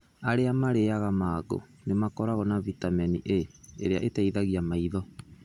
Arĩa marĩĩaga mango nĩ makoragwo na bitamini A, ĩrĩa ĩteithagia maitho.